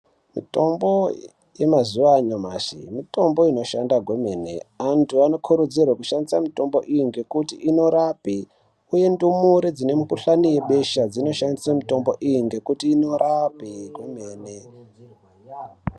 Mitombo yamazuwa ashamashi mitombo inoshanda kwemene antu anokurudzirwa kushandisa mitombo iyi ngekuti inorape uye ndumure dzine mukuhlani yebesha dzinoshandise mitombo iyi ngekuti inorape kwemene.